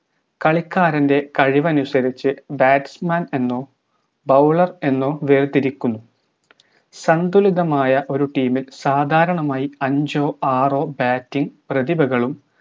കളിക്കാരന്റെ കഴിവനുസരിച്ച് batsman എന്നോ bowler എന്നോ വേർതിരിക്കുന്നു സന്തുലിതമായ ഒരു team ഇൽ സാധാരണമായി അഞ്ചോ ആറോ batting പ്രതിഭകളും